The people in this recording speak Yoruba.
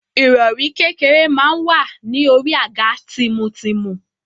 Ìrọ̀rí kékeré máa wà ní orí àga tìmùtìmù.